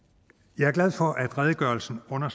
jeg er glad for at redegørelsen kommer